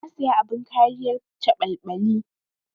Na saya abin kariyar caɓalɓali.